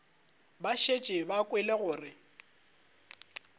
ba šetše ba kwele gore